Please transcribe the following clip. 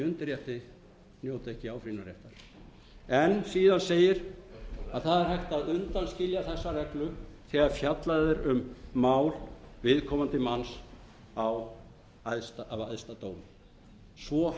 undirrétti njóti ekki áfrýjunarréttar síðan segir að það er hægt að undanskilja þessa reglu þegar fjallað er um mál viðkomandi manns af æðsta dómi svo